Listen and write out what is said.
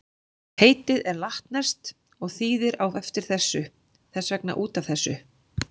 Heitið er latneskt og þýðir á eftir þessu, þess vegna út af þessu.